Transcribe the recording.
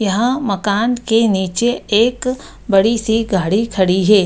यहाँ मकान के नीचे एक बड़ी-सी गाड़ी खड़ी है।